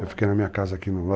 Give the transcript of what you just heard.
Eu fiquei na minha casa aqui no